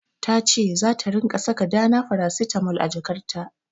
Ta ce zata ringa saka Dana farasitamol a jakarta.